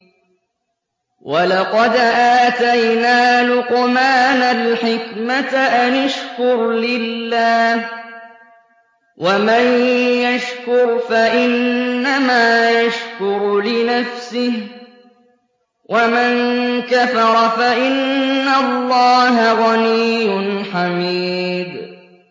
وَلَقَدْ آتَيْنَا لُقْمَانَ الْحِكْمَةَ أَنِ اشْكُرْ لِلَّهِ ۚ وَمَن يَشْكُرْ فَإِنَّمَا يَشْكُرُ لِنَفْسِهِ ۖ وَمَن كَفَرَ فَإِنَّ اللَّهَ غَنِيٌّ حَمِيدٌ